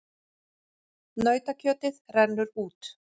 Nautakjötið rennur út